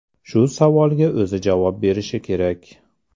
Shu savolga o‘zi javob berishi kerak.